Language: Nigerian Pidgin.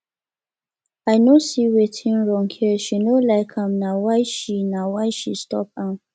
i no see wetin wrong here she no like am na why she na why she stop am